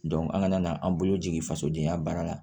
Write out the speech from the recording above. an kana an bolo jigin fasodenya baara la